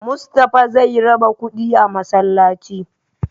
Mustapha zai raba kuɗi a masallaci